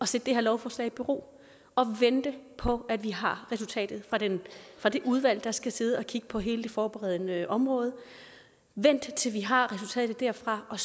sætte det her lovforslag i bero og vente på at vi har resultatet fra det udvalg der skal sidde og kigge på hele det forberedende område vent til vi har resultatet derfra og